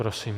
Prosím.